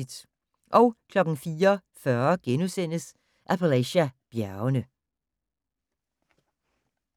04:40: Appalachia-bjergene *